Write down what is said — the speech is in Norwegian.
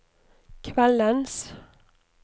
kveldens